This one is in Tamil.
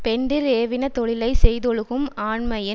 பெண்டிர் ஏவின தொழிலை செய்தொழுகும் ஆண்மையின்